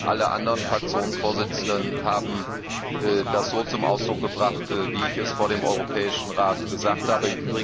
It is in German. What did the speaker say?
Alle anderen Fraktionsvorsitzenden haben das so zum Ausdruck gebracht, wie ich es vor dem Europäischen Rat gesagt habe.